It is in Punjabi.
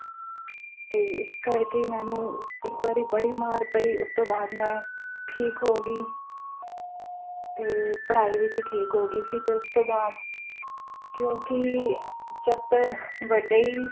ਤੇ ਇਸ ਕਰਕੇ ਮੈਨੂੰ ਇਕ ਵਾਰੀ ਬੜੀ ਮਾਰ ਪਈ ਉਸ ਤੋਂ ਬਾਦ ਮੈਂ ਠੀਕ ਹੋਗੀ ਤੇ ਪੜ੍ਹਾਈ ਵਿਚ ਠੀਕ ਹੋਗੀ ਸੀ ਜਦ ਉਸ ਤੋਂ ਬਾਦ ਕਿਉਕਿ ਜਦ ਵੱਡੇ ਹੀ